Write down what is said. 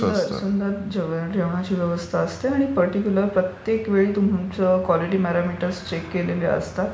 सुंदर, सुंदर व्यवस्था असते आणि पर्टीक्युलर प्रत्येक वेळी तुम्हाला क्वालिटी प्यारामीटर्स चेक केलेले असतात.